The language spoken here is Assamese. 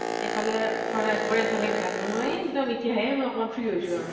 এফালে শৰাই আগ ব্ঢ়োৱা এফালে ভাত বনোৱা এ এক্দম এতিয়াহে মই অকমান free হৈছো আৰু।